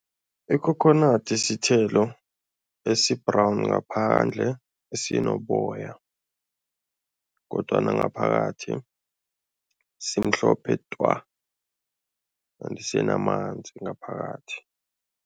Ikhokhonadi sithelo esi-brown ngaphandle esinoboya kodwana ngaphakathi simhlophe twa kanti sinamanzi ngaphakathi.